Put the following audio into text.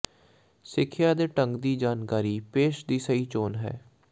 ਸਿੱਖਿਆ ਦੇ ਢੰਗ ਦੀ ਜਾਣਕਾਰੀ ਪੇਸ਼ ਦੀ ਸਹੀ ਚੋਣ ਹੈ